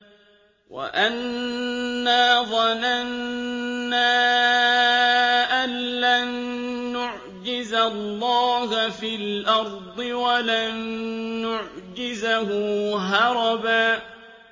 وَأَنَّا ظَنَنَّا أَن لَّن نُّعْجِزَ اللَّهَ فِي الْأَرْضِ وَلَن نُّعْجِزَهُ هَرَبًا